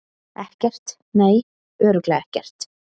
Ekkert, nei, örugglega ekkert.